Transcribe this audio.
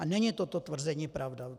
A není toto tvrzení pravda.